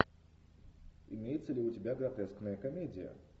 имеется ли у тебя гротескная комедия